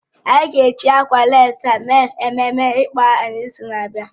Anyị ga-eji ákwà lécí ahụ mee ememe ịkpọ aha n'izu na-abịa